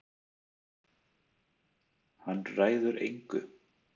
Hann ræður engu.